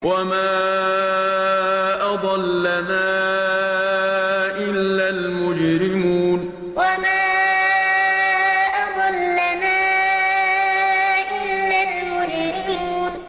وَمَا أَضَلَّنَا إِلَّا الْمُجْرِمُونَ وَمَا أَضَلَّنَا إِلَّا الْمُجْرِمُونَ